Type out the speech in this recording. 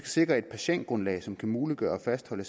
sikre et patientgrundlag som kan muliggøre at fastholde